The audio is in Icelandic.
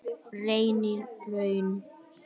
Reynihrauni